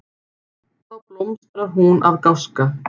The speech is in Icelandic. Þá blómstrar hún af gáska.